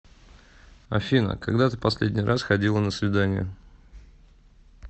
афина когда ты последний раз ходила на свидание